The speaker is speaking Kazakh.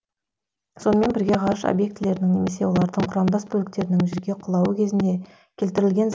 сонымен бірге ғарыш объектілерінің немесе олардың құрамдас бөліктерінің жерге құлауы кезінде келтірілген